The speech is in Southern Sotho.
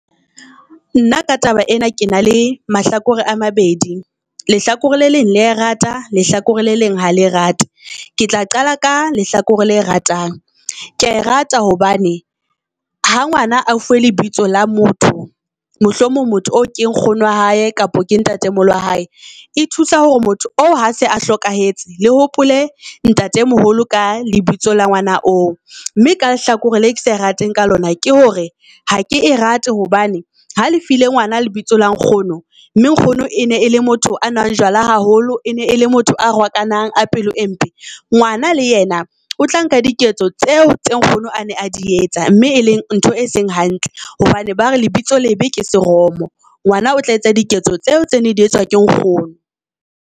Nna ka taba ena ke na le mahlakore a mabedi. Lehlakore le leng le ae rata lehlakore le leng ha le rate, ke tla qala ka lehlakore le ratang. Kea e rata hobane ha ngwana a fuwe lebitso la motho, mohlomong motho oo ke nkgono wa hae kapo ke ntate moholo wa hae. E thusa hore motho o ha se a hlokahetse le hopole ntate moholo ka lebitso la ngwana oo. Mme ka lehlakore le ke sa e rateng ka lona ke hore ha ke e rate hobane ha le file ngwana lebitso la nkgono, mme nkgono e ne e le motho a nwang jwala haholo, e ne e le motho a rwakanang a pelo e mpe. Ngwana le yena o tla nka diketso tseo tse nkgono a ne a di etsa, mme e leng ntho e seng hantle hobane ba re lebitso lebe ke seromo. Ngwana o tla etsa diketso tseo tse ne di etswa ke nkgono.